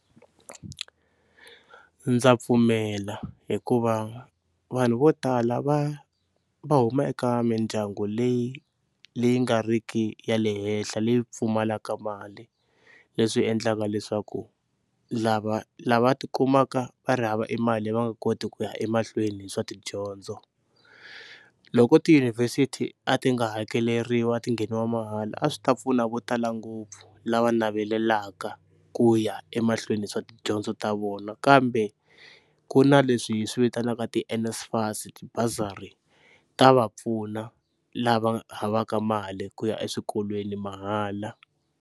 Ndza pfumela hikuva vanhu vo tala va va huma eka mindyangu leyi leyi nga riki ya le henhla leyi pfumalaka mali, leswi endlaka leswaku lava lava ti kumaka va ri hava emali leyi va nga koti ku ya emahlweni hi swa tidyondzo. Loko tiyunivhesiti a ti nga hakeleriwi a ti ngheniwa mahala a swi ta pfuna vo tala ngopfu lava navelaka ku ya emahlweni hi swa tidyondzo ta vona, kambe ku na leswi hi swivitanaka ti-NSFAS tibasari ta va pfuna lava havaka mali ku ya eswikolweni mahala.